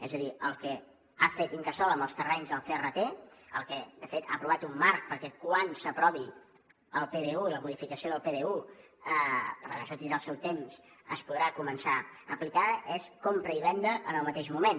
és a dir el que ha fet l’incasòl amb els terrenys del crt de fet ha aprovat un marc perquè quan s’aprovi el pdu i la modificació del pdu perquè això trigarà el seu temps es podrà començar a aplicar és compra i venda en el mateix moment